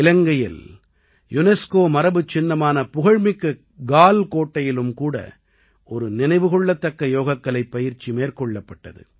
இலங்கையில் யுனெஸ்கோ மரபுச்சின்னமான புகழ்மிக்க கால் கோட்டையிலும் கூட ஒரு நினைவுகொள்ளத்தக்க யோகக்கலைப் பயிற்சி மேற்கொள்ளப்பட்டது